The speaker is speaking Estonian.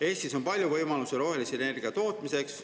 Eestis on palju võimalusi rohelise energia tootmiseks.